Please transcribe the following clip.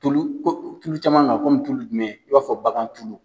Tulu ko tulu caman kan kɔme tulu jumɛn, i na fɔ bagantulu.